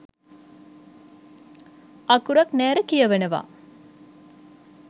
අකුරක් නෑර කියවනවා.